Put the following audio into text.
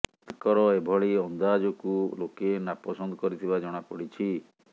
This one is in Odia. ତାଙ୍କର ଏଭଳି ଅନ୍ଦାଜକୁ ଲୋକେ ନାପସନ୍ଦ କରିଥିବା ଜଣା ପଡ଼ିଛି